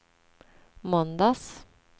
måndags